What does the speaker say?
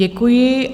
Děkuji.